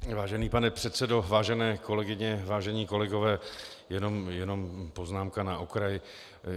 Vážený pane předsedo, vážené kolegyně, vážení kolegové, jen poznámka na okraj.